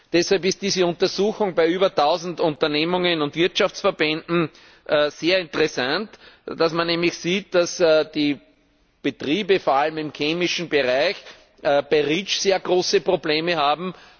Deshalb ist diese Untersuchung bei über Tausend Unternehmen und Wirtschaftsverbänden sehr interessant, dass man nämlich sieht, dass die Betriebe vor allem im chemischen Bereich bei REACH sehr große Probleme haben.